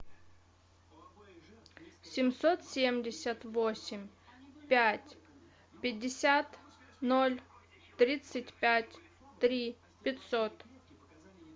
семьсот семьдесят восемь пять пятьдесят ноль тридцать пять три пятьсот